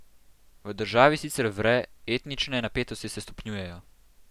V državi sicer vre, etnične napetosti se stopnjujejo.